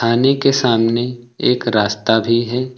के सामने एक रास्ता भी है।